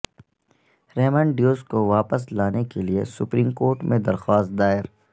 Raymond Davis کو واپس لانے کے لیے سپریم کورٹ میں درخواست دائر